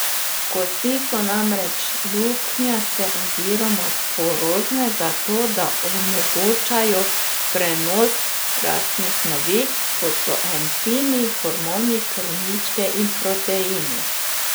Kosti so namreč luknjaste oziroma porozne zato, da omogočajo prenos rastnih snovi, kot so encimi, hormoni, krvničke in proteini.